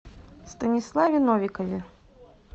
станиславе новикове